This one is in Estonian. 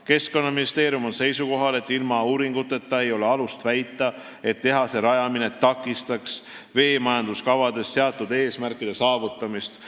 Keskkonnaministeerium on seisukohal, et ilma uuringuteta ei ole alust väita, et tehase rajamine takistaks veemajanduskavades seatud eesmärkide saavutamist.